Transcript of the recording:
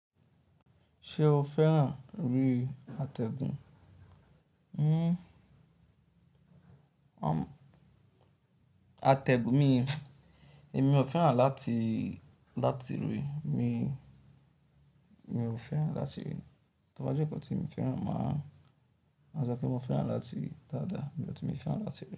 Ṣé o fẹ́ràn rí àtẹ̀gùn? Hmm, àtẹ̀gùn mí, èmi ò fẹ́ràn láti, láti ríi, mí, mi ò fẹ́ràn láti ríi. Ṣọ bá jẹ́ nkan tí mii fẹ́ràn, màá máa sọ pé mo fẹ́ràn láti ri dáadáa, but mii fẹ́ràn láti ríi.